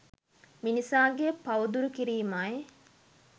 මිනිසාගේ පව් දුරු කිරීමයි